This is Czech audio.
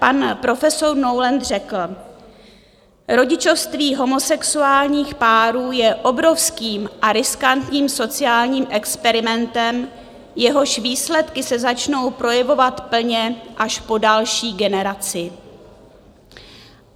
Pan profesor Noland (?) řekl: "Rodičovství homosexuálních párů je obrovským a riskantním sociálním experimentem, jehož výsledky se začnou projevovat plně až po další generaci."